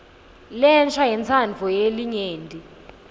lensha yentsandvo yelinyenti